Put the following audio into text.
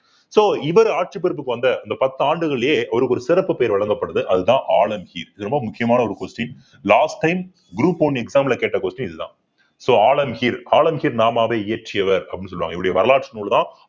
so இவரு ஆட்சி பொறுப்புக்கு வந்த இந்த பத்து ஆண்டுகளிலேயே அவருக்கு ஒரு சிறப்பு பெயர் வழங்கப்படுது அதுதான் ஆலம்கீர் இது ரொம்ப முக்கியமான ஒரு question last time group one exam ல கேட்ட question இதுதான் so ஆலம்கீர் நாமாவை இயற்றியவர் அப்படின்னு சொல்லுவாங்க இவருடைய வரலாற்று நூல்தான்